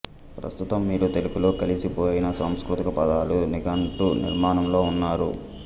ప్రస్తుతం వీరు తెలుగులో కలిసిపోయిన సంస్కృత పదాల నిఘంటు నిర్మాణంలో ఉన్నారు